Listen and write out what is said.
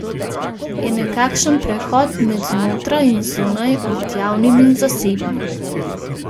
Je nekakšen prehod med znotraj in zunaj, med javnim in zasebnim.